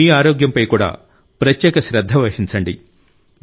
మీ ఆరోగ్యంపై కూడా ప్రత్యేక శ్రద్ధ వహించండి